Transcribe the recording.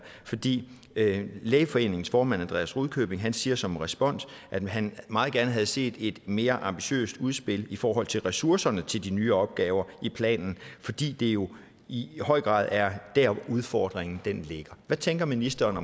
fordi lægeforeningens formand andreas rudkjøbing siger som respons at han meget gerne havde set et mere ambitiøst udspil i forhold til ressourcerne til de nye opgaver i planen fordi det jo i høj grad er der udfordringen ligger hvad tænker ministeren